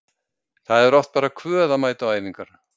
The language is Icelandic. Þá er oft bara kvöð að mæta á æfingar.